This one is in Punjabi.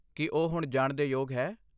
ਕੀ ਉਹ ਹੁਣ ਜਾਣ ਦੇ ਯੋਗ ਹੈ?